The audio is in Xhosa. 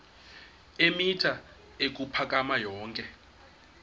eemitha ukuphakama yonke